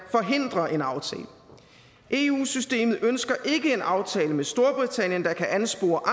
forhindrer en aftale eu systemet ønsker ikke en aftale med storbritannien der kan anspore